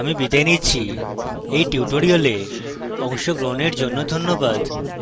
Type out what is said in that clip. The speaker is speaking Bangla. আই আই টী বোম্বে থেকে আমি বিদায় নিচ্ছি এই টিউটোরিয়ালএ অংশগ্রহন করার জন্য ধন্যবাদ